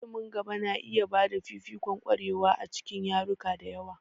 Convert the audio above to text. Ilimin gaba na iya ba da fifikon ƙwarewa a cikin yaruka da yawa.